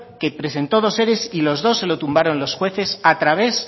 que presentó dos ere y los dos se lo tumbaron los jueces a través